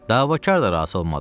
Davakar da razı olmadı.